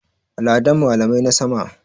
Ladan malamai na sama.